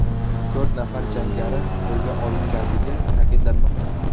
To‘rt nafar jangari qo‘lga olinganligi ta’kidlanmoqda.